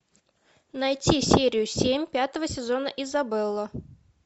найти серию семь пятого сезона изабелла